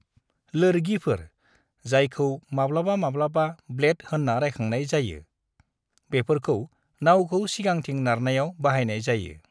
लोरगिफोर, जायखौ माब्लाबा-माब्लाबा ब्लेड होन्ना रायखांनाय जायो, बेफोरखौ नावखौ सिगांथिं नारनायाव बाहायनाय जायो।